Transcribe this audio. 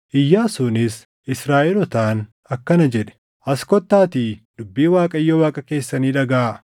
Iyyaasuunis Israaʼelootaan akkana jedhe; “As kottaatii dubbii Waaqayyo Waaqa keessanii dhagaʼaa.